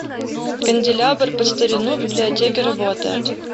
канделябр под старину в библиотеке работает